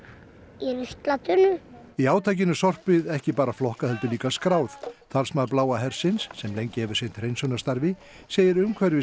í ruslatunnu í átakinu er sorpið ekki bara flokkað heldur líka skráð talsmaður Bláa hersins sem lengi hefur sinnt hreinsunarstarfi segir